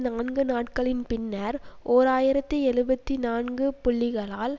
நான்கு நாட்களின் பின்னர் ஓர் ஆயிரத்தி எழுபத்து நான்கு புள்ளிகளால்